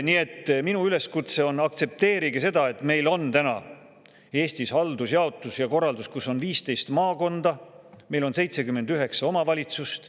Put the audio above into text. Nii et minu üleskutse on: aktsepteerige seda, et meil on täna Eestis haldusjaotus ja ‑korraldus, kus on 15 maakonda, meil on 79 omavalitsust.